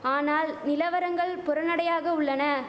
ஆனால் நிலவரங்கள் புறநடையாக உள்ளன